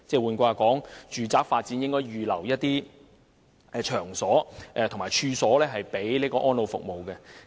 換言之，住宅發展項目應預留場所及處所作安老服務之用。